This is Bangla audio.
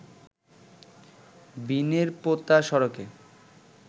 বিনেরপোতা সড়কে